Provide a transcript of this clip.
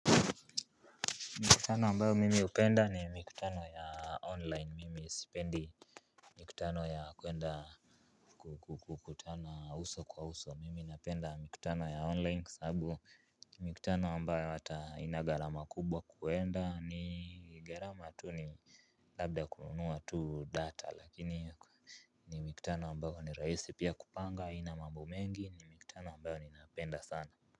Mikutano ambayo mimi hupenda ni mikutano ya online mimi sipendi. Mikutano ya kuenda kukukutana uso kwa uso mimi napenda mikutano ya online sababu mikutano ambayo hata haina gharama kubwa kuenda ni gharama tu ni labda kununua tu data lakini ni mikutano ambayo ni rahisi pia kupanga haina mambo mengi ni mikutano ambayo ninaipenda sana.